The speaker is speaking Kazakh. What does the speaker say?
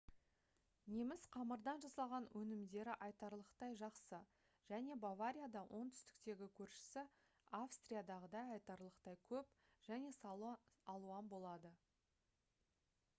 неміс қамырдан жасалған өнімдері айтарлықтай жақсы және баварияда оңтүстіктегі көршісі австриядағыдай айтарлықтай көп және сан алуан болады